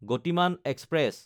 Gatimaan express